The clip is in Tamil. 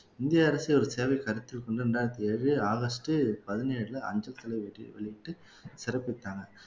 இந்திய அரசு ஒரு சேவை கருத்தில் கொண்டு ரெண்டாயிரத்தி ஏழு ஆகஸ்ட் பதினேழுல அஞ்சல் தலை வெளியிட்டு சிறப்பிச்சாங்க